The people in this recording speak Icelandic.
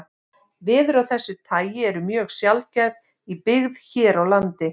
Veður af þessu tagi eru mjög sjaldgæf í byggð hér á landi.